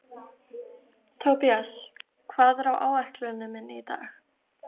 Tobías, hvað er á áætluninni minni í dag?